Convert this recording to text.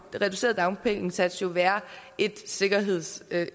reduceret dagpenge indsats jo være et sikkerhedsnet det